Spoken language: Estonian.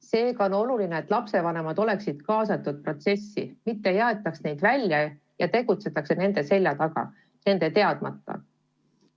Seega on oluline, et lapsevanemad oleksid kaasatud protsessi, mitte ei aetaks neid eemale ega tegutsetaks nende selja taga, nende teadmata.